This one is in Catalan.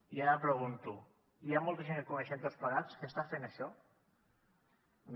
i ara pregunto hi ha molta gent que coneixem tots plegats que està fent això no